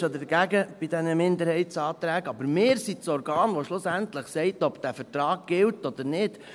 Ob man jetzt für oder gegen diese Minderheitsanträge ist: Wir sind das Organ, das schlussendlich sagt, ob dieser Vertrag gilt oder nicht.